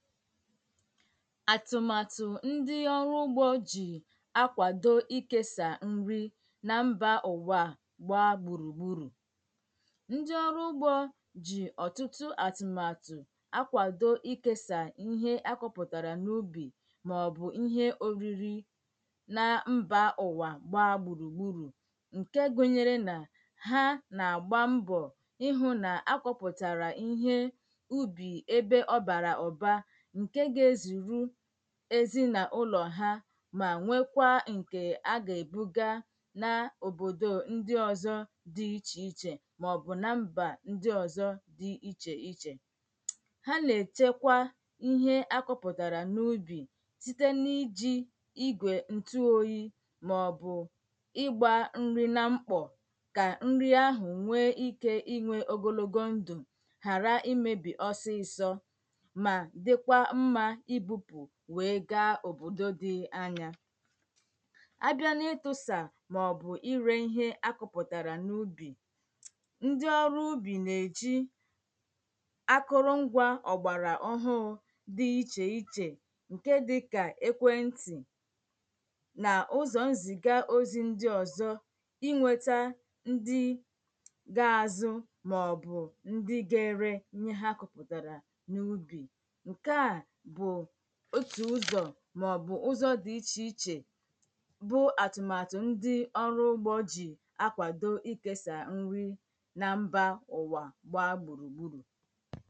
àtụ̀màtụ̀ ndi ọrụ ugbō jì akwàdo ikēsa nri nà mbà ụ̀wà gbaa gbùrùgbùrù ndi ọrụ ugbō jì ọ̀tụtụ àtụ̀màtụ̀ akwàdo ikēsa ihe akụ̄pụ̀tàrà màọbụ̀ ihe òriri nà mbà ụ̀wà gbaa gbùrùgbùrù ǹke gùnyere nà ha nà-àgba mbọ̀ ihū nà-akọ̄pụ̀tàrà ihe ubì ebe ọbàrà ụ̀ba ǹkè gà-ezùru èzinàaụlọ̀ ha mà nwekwaa ǹkè a gà-èbuga naa òbòdò ndi ozō di ichèichè m̀aọbụ̀ nà mbà ọzọ̄ di ichèichè ha nà-èchekwa ihe akụ̄pụ̀tàrà n’ubì site n’ijī igwè ǹtụoyī m̀aọbụ̀ ịgbā nri nà mkpọ̀ kà nri ahụ̀ nwee ikē inwē ogologo ndụ̀ ghàra imēbì osisō mà dikwa mmā ibūpù wee gaa òbòdò dì anyá á bìa n’ịtụ̄sà m̀aọbụ̀ ì rē ihe akụ̄pụ̀tàrà n’ubì ndi ọrụ̄ ubì nà-èji akụrụ ngwā ọ̀gbàrà ọhụụ di ichèichè ǹke dịkà ekwentị̀ nà ụzọ̀ nzìga ozi ndi ọ̀zọ inw̄etā ndi ga-azụ m̀aọbụ̀ ndi ga-ere ihe ha kụpụ̀tàrà n’ubì ǹkè a otù ụzọ̀ m̀aọbụ̀ ụzọ̀ di ichèichè bụ̀ àtụ̀màtụ̀ ndi ọrụ ugbō jì akwàdo ikēsà nri nà mbà ụ̀wà gbaa gbùrùgbùrù